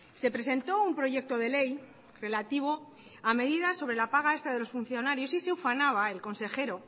se presentó un proyecto de ley relativo a medidas sobre la paga extra de los funcionarios y se ufanaba el consejero